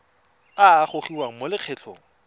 a a gogiwang mo lokgethong